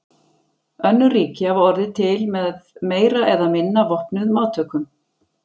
Önnur ríki hafa orðið til með meira eða minna vopnuðum átökum.